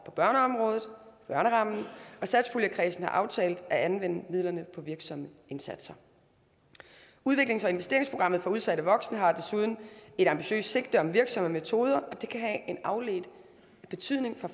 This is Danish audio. på børneområdet børnerammen og satspuljekredsen har aftalt at anvende midlerne på virksomme indsatser udviklings og investeringsprogrammet for udsatte voksne har desuden et ambitiøst sigte om virksomme metoder og det kan have en afledt betydning for